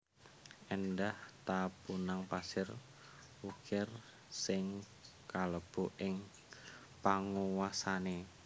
Éndah ta punang pasir wukir sing kalebu ing panguwasané